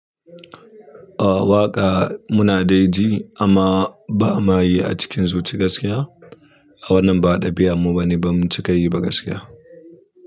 O waƙa muna dai ji amma ba ma yi a cikin zuci gaskiya. A wannan ba'a ɗabi'a mu bane ba mu cika yi ba gaskiya.